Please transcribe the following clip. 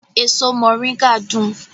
Èso moringa dùn